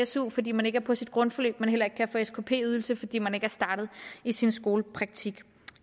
su fordi man ikke er på sit grundforløb og heller ikke kan få skp ydelse fordi man ikke er startet i sin skolepraktik